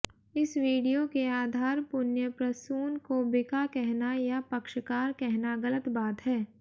इस वीडियो के आधार पुण्य प्रसून को बिका कहना या पक्षकार कहना गलत बात है